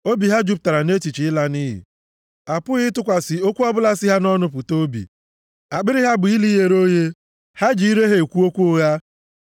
Obi ha jupụtara nʼechiche ịla nʼiyi, a pụghị ịtụkwasị okwu ọbụla si ha nʼọnụ pụta obi. Akpịrị ha bụ ili ghere oghe; ha ji ire ha ekwu okwu ụgha.